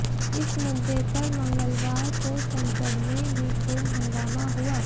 इस मुद्दे पर मंगलवार को संसद में भी खूब हंगामा हुआ